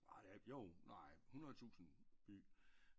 Ej det er der jo nej hundrede tusinde by